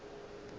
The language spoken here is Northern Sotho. o be a le gare